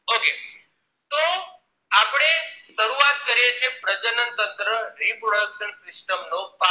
શરૂઆત કરીએ છીએ પ્રજનન તંત્ર reproduction system નો part